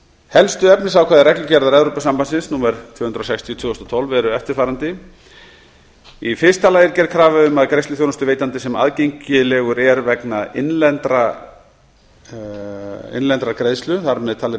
helstu efnisákvæði reglugerðar númer tvö hundruð og sextíu tvö þúsund og tólf eru eftirfarandi í fyrsta lagi er gerð krafa um að greiðsluþjónustuveitandi sem aðgengilegur er vegna innlendrar greiðslu þar með talið